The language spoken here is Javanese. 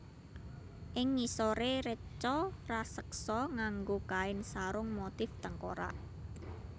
Ing ngisoré reca raseksa nganggo kain sarung motif tengkorak